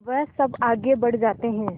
वह सब आगे बढ़ जाते हैं